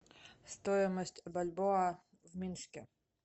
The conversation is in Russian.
стоимость бальбоа в минске